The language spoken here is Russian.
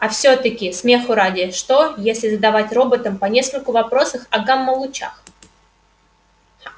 а всё-таки смеху ради что если задавать роботам по нескольку вопросов о гамма-лучах